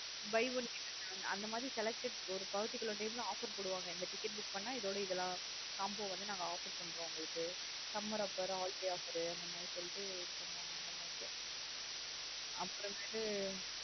Buy one get one அந்த மாத்ரி selected ஒரு particular time லா offer போடுவாங்க இந்த ticket book பண்ண இதோட இதெல்லாம் combo offer பண்றோம் நாங்க உங்களுக்கு summer offer holiday offer சொல்லிட்டு இது பண்ணுவாங்க அந்த மாத்ரி